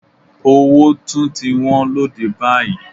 Owó tún ti wọ́n lóde báyìí.